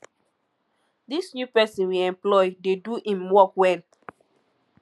dis new person we employ dey do im work well